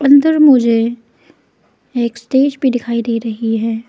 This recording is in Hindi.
अंदर मुझे एक स्टेज भी दिखाई दे रही है।